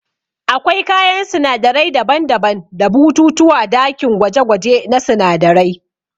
Akwai kayan sinadarai daban-daban da bututu ã dakin gwaje-gwaje na sunadarai.